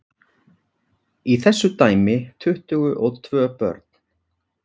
Í þessu dæmi tuttugu og tvö börn.